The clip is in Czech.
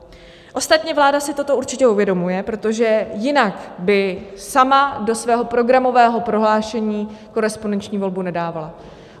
Ostatně vláda si toto určitě uvědomuje, protože jinak by sama do svého programového prohlášení korespondenční volbu nedávala.